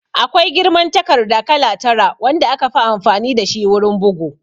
Akwai girman takarda kala tara wanda aka fi amfani dashi wurin bugu